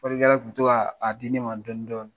Fɔlikɛla tun bɛ to k'a di ne man dɔɔnin dɔɔnin.